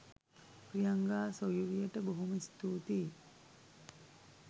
ප්‍රියංගා සොයුරියට බොහොම ස්තූතියි.